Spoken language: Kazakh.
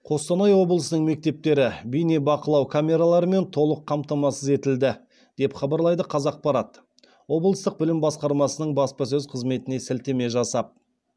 қостанай облысының мектептері бейнебақылау камераларымен толық қамтамасыз етілді деп хабарлайды қазақпарат облыстық білім басқармасының баспасөз қызметіне сілтеме жасап